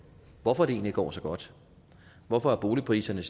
hvorfor det egentlig går så godt hvorfor boligpriserne